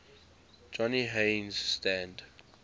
johnny haynes stand